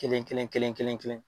Kelen kelen kelen ....